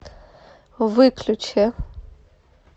выключи